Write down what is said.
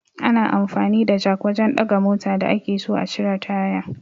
Ana amfani da jak wajan ɗaga mota da ake so a cire taya